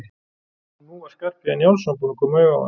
Og nú var Skarphéðinn Njálsson búinn að koma auga á hann.